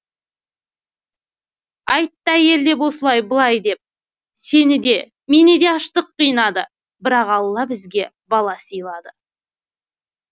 айтты әйел деп осылай былай деп сені де мені де аштық қинады бірақ алла бізге бала сыйлады